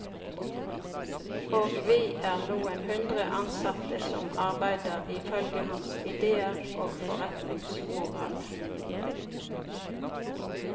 Og vi er noen hundre ansatte som arbeider ifølge hans idéer og forretningsmoral.